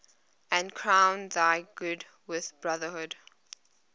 and crown thy good with brotherhood